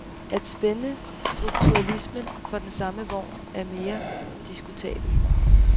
At spænde strukturalismen for den samme vogn er mere diskutabelt.